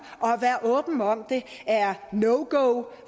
og være åben om det er no go